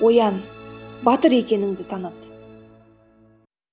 оян батыр екеніңді таныт